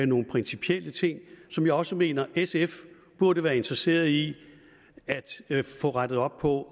nogle principielle ting som jeg også mener sf burde være interesseret i at få rettet op på